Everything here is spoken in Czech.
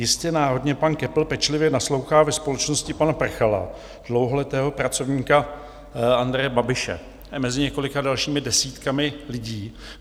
Jistě náhodně pan Köppl pečlivě naslouchá ve společnosti pana Prchala, dlouholetého pracovníka Andreje Babiše, mezi několika dalšími desítkami lidí.